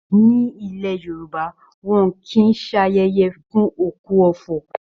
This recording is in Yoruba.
Ní ilẹ̀ Yorùbá, wọn kìí ṣayẹyẹ fún òkú ọ̀fọ̀